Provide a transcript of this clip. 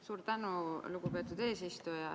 Suur tänu, lugupeetud eesistuja!